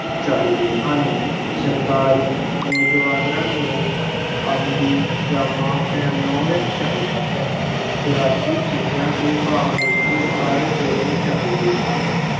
ਚਾਹੀਦੇ ਹਨ, ਸਰਕਾਰੀ ਨੌਜਵਾਨਾਂ ਨੂੰ ਅਮਲੀ ਜਾਮਾ ਪਹਿਨਾਉਣੇ ਚਾਹੀਦਾ ਹੈ, ਖੁਰਾਕੀ ਚੀਜ਼ਾਂ ਦੇ ਭਾਅ ਨਿਸ਼ਚਿਤ ਕਰ ਦੇਣੇ ਚਾਹੀਦੇ ਹਨ।